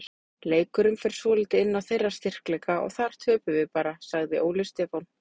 Leikurinn fer svolítið inn á þeirra styrkleika og þar töpum við bara, sagði Óli Stefán.